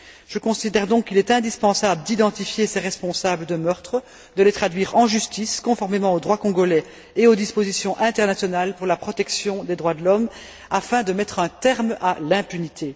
Je considère donc qu'il est indispensable d'identifier ces responsables de meurtres, de les traduire en justice, conformément au droit congolais et aux dispositions internationales pour la protection des droits de l'homme, afin de mettre un terme à l'impunité.